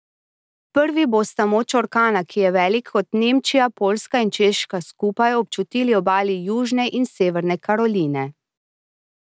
Prvi bosta moč orkana, ki je velik kot Nemčija, Poljska in Češka skupaj, občutili obali Južne in Severne Karoline.